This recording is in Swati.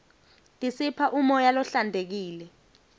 tisipha umoya lohlantekile